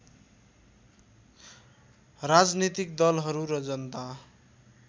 राजनीतिक दलहरू र जनता